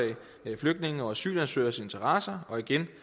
flygtninges og asylansøgeres interesser igen